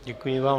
Děkuji vám.